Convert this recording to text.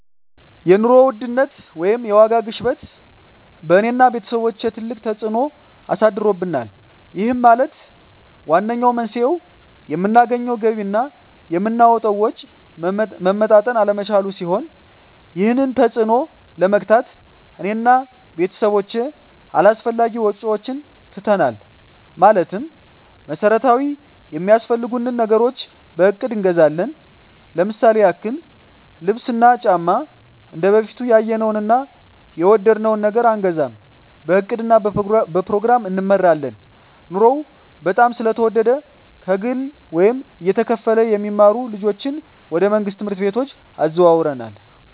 የኑሮ ውድነት ወይም የዋጋ ግሽበት በእኔ እና በቤተሰቦቸ ትልቅ ተፅእኖ አሳድሮብናል ይህም ማለት ዋነኛው መንስኤው የምናገኘው ገቢ እና የምናወጣው ወጪ መመጣጠን አለመቻሉን ሲሆን ይህንን ተፅዕኖ ለመግታት እኔ እና ቤተሰቦቸ አላስፈላጊ ወጪዎችን ትተናል ማለትም መሠረታዊ ሚያስፈልጉንን ነገሮች በእቅድ እንገዛለን ለምሳሌ ያክል ልብስ እና ጫማ እንደበፊቱ ያየነውን እና የወደድነውን ነገር አንገዛም በእቅድ እና በፕሮግራም እንመራለን ኑሮው በጣም ስለተወደደ ከግለ ወይም እየተከፈለ የሚማሩ ልጆችን ወደ መንግሥት ትምህርት ቤቶች አዘዋውረናል